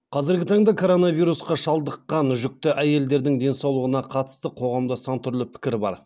қазіргі таңда коронавирусқа шалдыққан жүкті әйелдердің денсаулығына қатысты қоғамда сан түрлі пікір бар